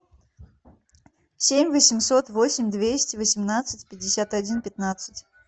семь восемьсот восемь двести восемнадцать пятьдесят один пятнадцать